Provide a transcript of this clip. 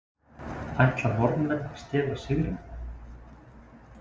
Ætla Norðmenn að stela sigrinum???